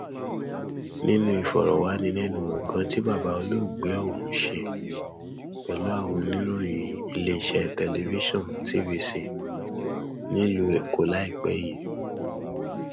nínú ìfọrọwánilẹnuwò kan tí bàbá olóògbé ọhún ṣe pẹlú àwọn oníròyìn iléeṣẹ tẹlifíṣàn tvc nílùú èkó láìpẹ yìí